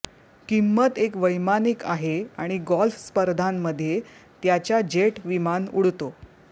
किंमत एक वैमानिक आहे आणि गोल्फ स्पर्धांमध्ये त्याच्या जेट विमान उडतो